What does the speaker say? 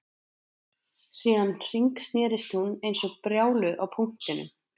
Síðan hringsnerist hún eins og brjáluð á punktinum